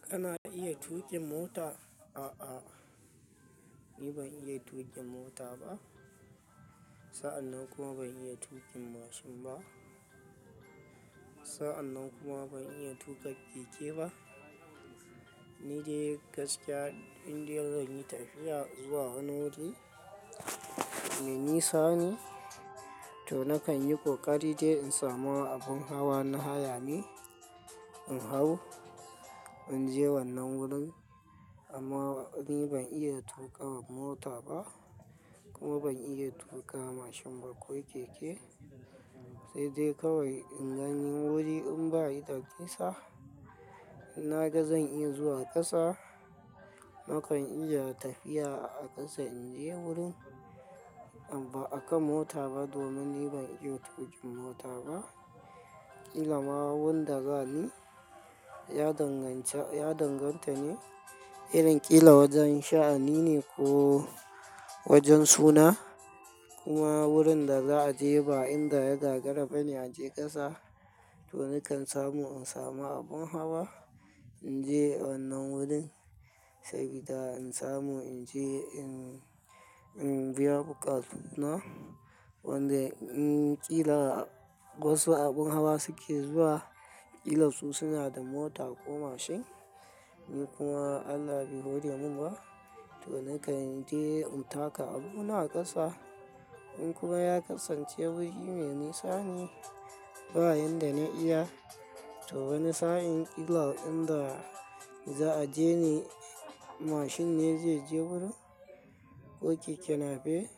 Kana iya tuƙin mota? A'a, ni ban iya tuƙin mota ba. Sa'annan kuma ban iya tuƙin mashin ba. Sa'annan kuma ban iya tuƙa keke ba. Ni dai gaskiya indai zan yi tafiya zuwa wani wuri me nisa ne, to nakan yi ƙoƙari dai in samu abin hawa na haya ne in hau in je wannan wurin. Amma ni ban iya tuƙa mota ba kuma ban iya tuƙa mashin ba ko keke. Sai dai kawai in gani wuri in bai da nisa, inna ga zan iya zuwa ƙasa, nakan iya tafiya a ƙasa in je wurin ba a kan mota ba domin ni ban iya tuƙin mota ba. Kila ma wanda za ni ya danganta ne irin ƙila wajen sha'ani ne ko wajen suna. Kuma wurin da za a je ba inda ya da gagara ba ne a je ƙasa, to nakan samu in samu abin hawa in je wannan wurin sabida in samu in je in biya buƙatu na. Wanda in ƙila wasu abin hawa suke zuwa, ƙila su suna da mota ko mashin. Ni kuma Allah bai hore min ba, to nakan je in taka abuna a ƙasa. In kuma ya kasance wuri me nisa ne bayan da na iya, to wani sa'in ƙila inda za a je ne mashin ne zai je wurin ko keke nape,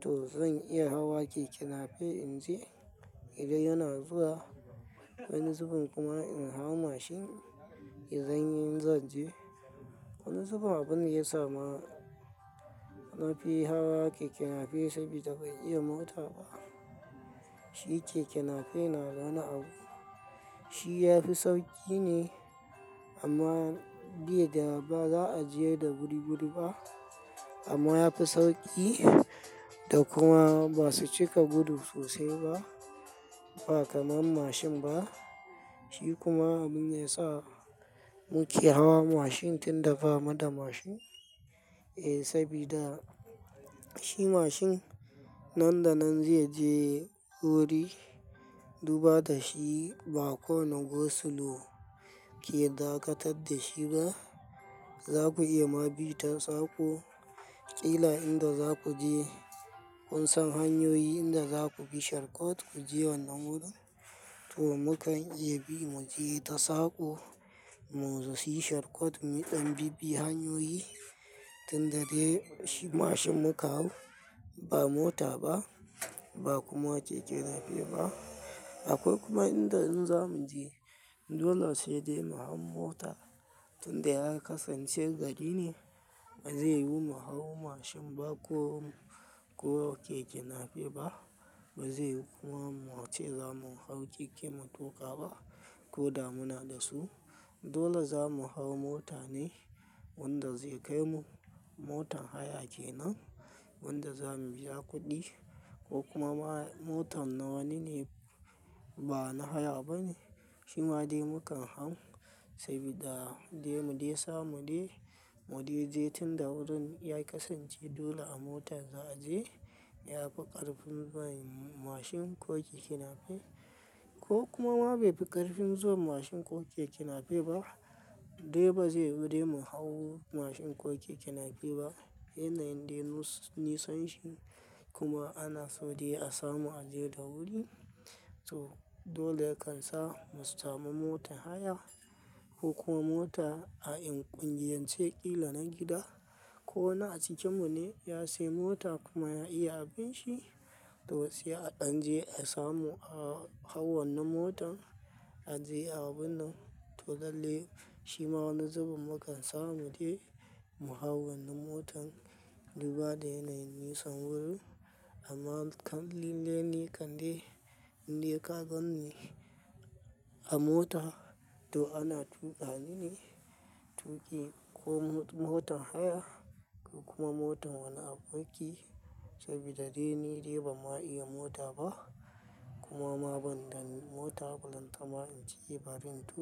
to zan iya hawa keke nape in je idan yana zuwa. Wani zubin kuma in hau mashin in zan yi in zan je. Wani zubin abin da ya sama nafi hawa keke nape sabida bai iya mota ba. Shi keke nape na da wani abu. Shi ya fi sauƙi ne amma bai da ba za a je da wuri wuri ba. Amma ya fi sauƙi da kuma ba su cika gudu sosai ba, ba kamar mashin ba. Shi kuma abinda ya sa muke hawa mashin tun da ba mu da mashin. Eh, sabida shi mashin nan da nan zai je wuri duba da shi ba kowane gursulo ke dakatar da shi ba. Za ku iya ma bi ta sako. Kila inda za ku je kun san hanyoyi inda za ku bi sharkot ku je wannan wurin. To mukan iya bi mu je ta sako mu yi sharkot muɗan bi bi hanyoyi tun da dai shi mashin muka hau ba mota ba, ba kuma keke nape ba. Akwai kuma inda in za mu je dole sai dai mu hau mota tun da ya kasance gari ne. Ba zai yiwu mu hau mashin ba ko, ko keke nape ba. Ba zai yiwu kuma mu wuce zamu hau keke mu tuƙa ba ko da muna da su. Dole zamu hau mota ne wanda zai kai mu. Motan haya kenan wanda za mu biya kuɗi ko kumama motar na wani ne ba na haya ba ne. Shi ma dai mukan hau sabida dai mu dai sa mu dai, mu dai je tun da wurin ya kasance dole a motar za a je. Ya fi ƙarfin ba yi mashin ko keke nape. Ko kuma ma bai fi ƙarfin zuwa mashin ko keke nape ba dai ba zai yiwu dai mu hau mashin ko keke nape ba. Yanayin dai nisanshin kuma ana so dai a samu a je da wuri. To dole yakan sa mu samu motan haya ko kuma mota a ƙungiyance ƙila na gida ko wani a cikinmu ne ya sayi mota kuma ya iya abin shi, to sai a ɗan je a samu a hau wannan motan a je abun nan. To lalle shi ma wani zubin mukan samu dai mu hau wannan motan duba da yanayin nisan wurin. Amma kam lalle ni kamde indai ka gan ni a mota, to ana tuƙa ni ne tuƙi ko motan haya ko kuma motar wani aboki sabida dai ni dai ban ma iya mota ba kuma ma ban da mota balanta ma in je ba rin tuƙa.